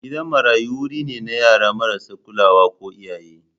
Gidan marayu wuri ne na yara marasa kulawa ko iyaye.